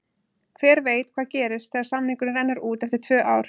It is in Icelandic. Hver veit hvað gerist þegar samningurinn rennur út eftir tvö ár?